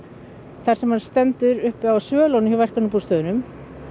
þar sem hann stendur uppi á svölum á verkamannabústöðum